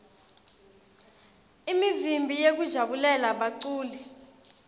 imivimbi yekujabulela baculi